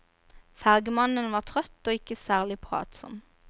Fergemannen var trøtt og ikke særlig pratsom.